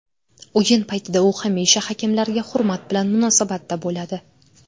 O‘yin paytida u hamisha hakamlarga hurmat bilan munosabatda bo‘ladi.